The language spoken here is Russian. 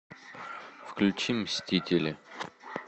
включи мстители